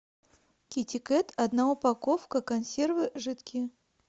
китикет одна упаковка консервы жидкие